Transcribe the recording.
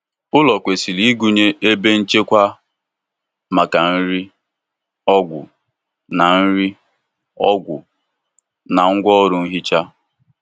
Ụlọ kwesịrị ịgụnye ebe nchekwa maka nri, ọgwụ, na nri, ọgwụ, na ngwá ọrụ ihicha.